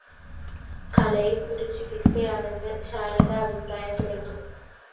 കലയും ഒരു ചികിത്സയാണെന്ന് ശാരദ അഭിപ്രായപ്പെടുന്നു